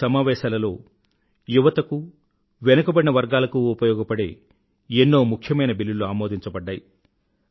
ఈ సమావేశాలలో యువతకూ వెనుకబడిన వర్గాలకూ ఉపయోగపడే ఎన్నో ముఖ్యమైన బిల్లులు అమోదించబడ్డాయి